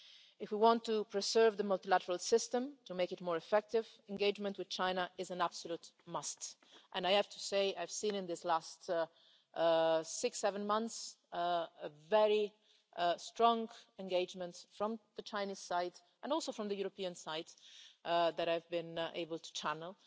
If we want to preserve the multilateral system and make it more effective, engagement with China is an absolute must. And I have to say I've seen, in the past six or seven months, very strong engagement from the Chinese side, and also from the European side, which I have been able to channel,